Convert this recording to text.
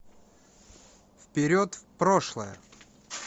вперед в прошлое